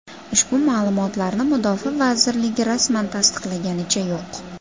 Ushbu ma’lumotlarni mudofaa vazirligi rasman tasdiqlaganicha yo‘q.